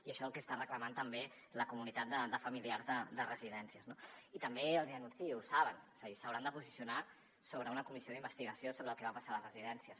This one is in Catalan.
i això és el que està reclamant també la comunitat de familiars de residències no i també els hi anuncio ho saben és a dir s’hauran de posicionar sobre una comissió d’investigació sobre el que va passar a les residències